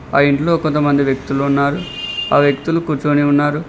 ఆ ఇంట్లో కొంతమంది వ్యక్తులు ఉన్నారు ఆ వ్యక్తులు కూర్చుని ఉన్నారు.